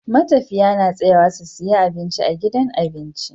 Matafiya na tsayawa su siya abinci a gidan abinci